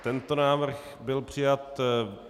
Tento návrh byl přijat.